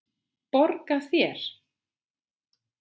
Borga þér?